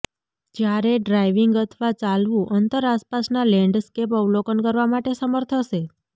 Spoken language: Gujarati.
જ્યારે ડ્રાઇવિંગ અથવા ચાલવું અંતર આસપાસના લેન્ડસ્કેપ અવલોકન કરવા માટે સમર્થ હશે